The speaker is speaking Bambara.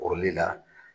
Kɔrɔli la